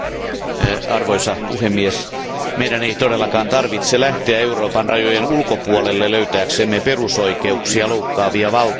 Arvoisa puhemies, meidän ei todellakaan tarvitse lähteä Euroopan rajojen ulkopuolelle löytääksemme perusoikeuksia loukkaavia valtioita.